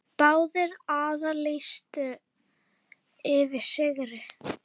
Báðir aðilar lýstu yfir sigri.